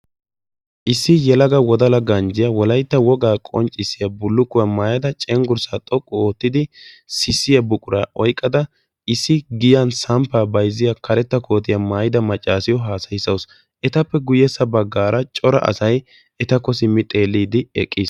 issi yelaga wodala ganjjiyaa wolaytta woga aqonccissiya bulukkuwwa maayada cenggirssa xoqqu oottidi sissiyaa buqura oyqqadda issi giyan saamppaa bayzziya karetta koottiyaa maayyodda macassiyo hassayssawus. etappe guyye baggan cora asay etakko simmidi eqqiis.